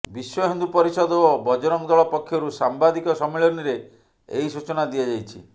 ବିଶ୍ବ ହିନ୍ଦୁ ପରିଷଦ ଓ ବଜରଂଗ ଦଳ ପକ୍ଷରୁ ସାମ୍ବାଦିକ ସମ୍ମିଳନୀରେ ଏହି ସୂଚନା ଦିଆଯାଇଛି